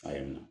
A ye na